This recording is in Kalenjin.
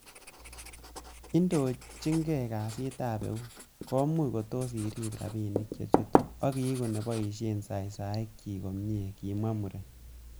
'Inditokyigei kasitab eut, komuche kotos iribe rabinik che chutu, ak iigu neboishie saisiekyik komie,''kimwa muren